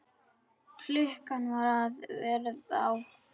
Klukkan var að verða átta.